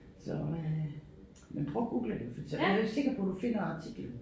Så øh men prøv at Google det for så jeg jo ikke sikker på du finder artiklen